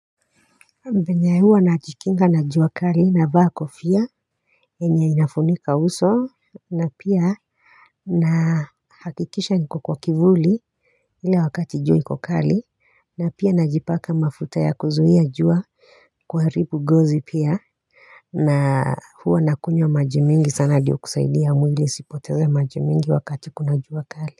Venye huwa najikinga na jua kali navaa kofia yenye inafunika uso na pia na hakikisha niko kwa kivuli ilevwakati jua niko kali na pia najipaka mafuta ya kuzuia jua kuharibu ngozi pia na huwa nakunywa maji mingi sana ndio kusaidia mwili usipoteze maji mingi wakati kuna jua kali.